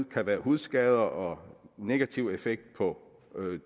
kan være hudskader og negativ effekt på